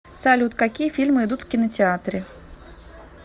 салют какие фильмы идут в кинотеатре